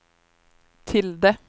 tilde